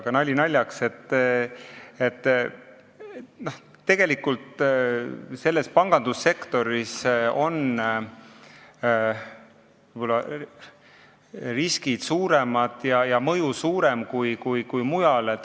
Aga nali naljaks, tegelikult on ju pangandussektoris riskid ja mõju suuremad kui mujal.